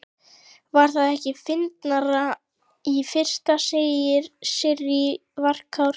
Var það ekki fyndnara í fyrra, segir Sirrý, varkár.